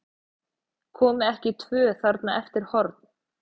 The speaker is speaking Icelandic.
Komu ekki tvö þarna eftir horn?